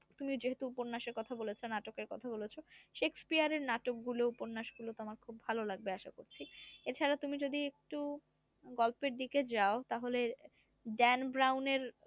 তুমি যেহেতু উপন্যাসের কথা বলেছো নাটকের কথা বলেছো শেক্সপিয়ায়ের নাটকগুলো উপন্যাস গুলো তোমার খুব ভালো লাগবে আশা করছি এছাড়া তুমি যদি একটু গল্পের দিকে যাও তাহলে